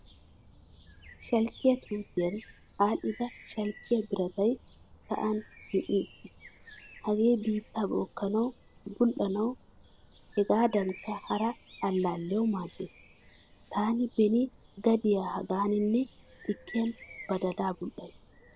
Shalkiyaa tuutiyan adhdhida shalkiyaa biratay sa'an zin'i uttiis. Hagee biitta bookanawu, bul'anawu hegadankka hara allaliyawu maaddees. Taani beeni gadiya hagaaninnne xikkiyan badalaa bul'asi.